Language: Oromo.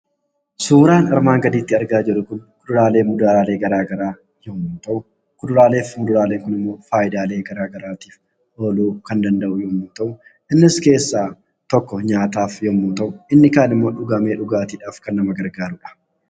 Suuraan armaan gadiitti argaa jiruu kuni kuduraleef muduralee gara garaa yommuu ta'u, Kuduraleef muduraleen kun faayidaa gara garaattif oluu kan danda'u yoo ta'u innis keessa tokko nyataaf yommuu ta'uu, inni kan immoo dhugaame dhugaattiif kan nama gargaruudha.